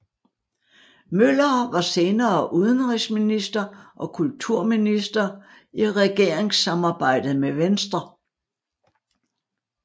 Møller var senere udenrigsminister og kulturminister i regeringssamarbejdet med Venstre